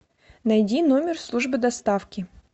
найди номер службы доставки